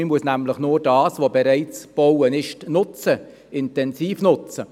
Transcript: Man muss das, was bereits gebaut worden ist, einfach nutzen, und zwar intensiv nutzen.